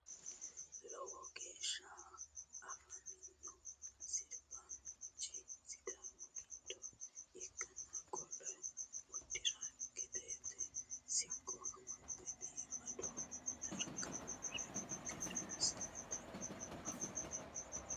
Loow geeshsha afamino sirbaasinichi sidaamu gidlha ikanna qollo udireangate siqqo amaxxe biifado daraga uure noo gede misilete aana leeelano yaate.